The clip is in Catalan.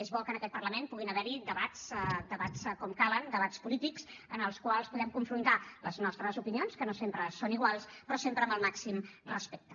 és bo que en aquest parlament puguin haver hi debats com cal debats polítics en els quals podem confrontar les nostres opinions que no sempre són iguals però sempre amb el màxim respecte